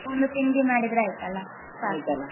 ಒಮ್ಮೆ ತಿಂಡಿ ಮಾಡಿದ್ರೆ ಆಯ್ತಲ್ಲ ಸಾಕಲ್ಲ .